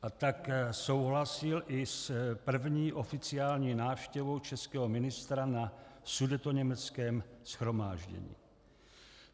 A tak souhlasil i s první oficiální návštěvou českého ministra na sudetoněmeckém shromáždění.